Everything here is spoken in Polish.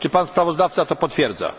Czy pan sprawozdawca to potwierdza?